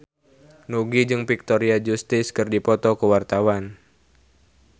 Nugie jeung Victoria Justice keur dipoto ku wartawan